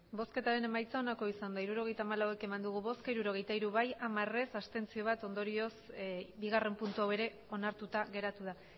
emandako botoak hirurogeita hamalau bai hirurogeita hiru ez hamar abstentzioak bat ondorioz bigarrena puntu hau ere onartuta geratu da